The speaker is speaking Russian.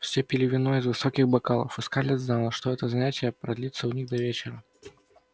все пили вино из высоких бокалов и скарлетт знала что это занятие продлится у них до вечера